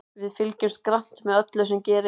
Við fylgjumst grannt með öllu sem gerist.